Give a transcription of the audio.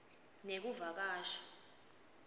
nekuvakasha